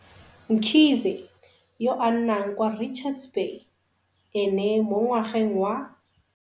Mkhize, yo a nnang kwa Richards Bay, ene mo ngwageng wa